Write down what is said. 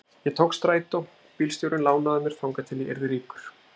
Ég tók strætó, bílstjórinn lánaði mér þangað til ég yrði ríkur.